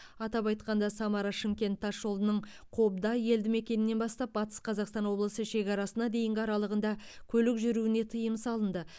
атап айтқанда самара шымкент тасжолының қобда елдімекенінен бастап батыс қазақстан облысы шекарасына дейінгі аралығында көлік жүруіне тыйым салынды